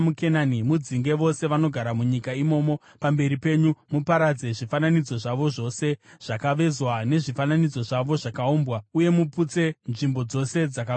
mudzinge vose vanogara munyika imomo pamberi penyu. Muparadze zvifananidzo zvavo zvose zvakavezwa nezvifananidzo zvavo zvakaumbwa, uye muputse nzvimbo dzose dzakakwirira.